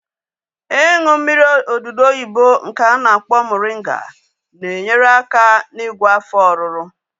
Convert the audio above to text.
Ịṅụ mmiri odudu oyibo nke a na-akpọ moringa na-enyere aka n'igwọ afọ ọruru